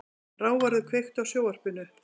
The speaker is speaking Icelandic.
Ráðvarður, kveiktu á sjónvarpinu.